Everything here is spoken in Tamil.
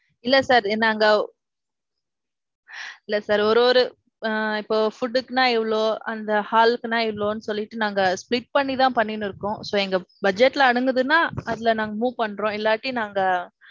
இல்ல sir. நாங்க இல்ல sir. ஒரு ஒரு ஆ இப்ப food க்குனா இவளோ. அந்த hall க்குனா இவ்ளோன்னு சொல்லிட்டு நாங்க split பண்ணி தான் பண்ணின்னு இருக்கோம். so, எங்க budget ல அடங்குதுன்னா அதுல நாங்க move பண்றோம் இல்லாட்டி நாங்க.